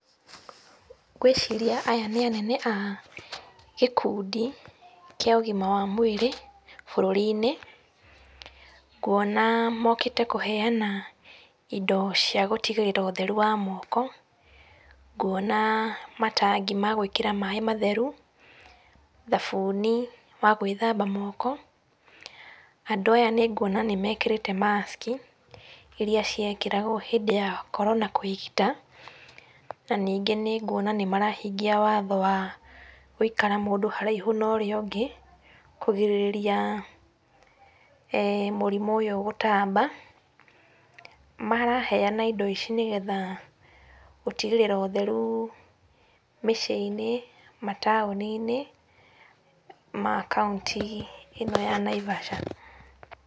Ngwĩciria aya nĩ anene a gĩkundi kĩa ũgima wa mwĩrĩ bũrũri-inĩ. Nguona mokĩte kũheana indo cia gũtigĩrĩra ũtheru wa moko. Nguona matangi ma gwĩkĩra maĩ matheru, thabuni wa gwĩthamba moko. Andũ aya nĩnguona nĩmekĩrĩte mask iria ciekĩragwo hĩndĩ ya korona kwĩgita. Na ningĩ nĩnguona nĩmarahingia watho wa gũikara mũndũ haraihu na ũrĩa ũngĩ, kũgirĩrĩria mũrimũ ũyũ gũtamba. Maraheana indo ici, nĩgetha gũtigĩrĩra ũtheru mĩciĩ-inĩ, mataũni-inĩ ma kauntĩ ĩno ya Naivasha.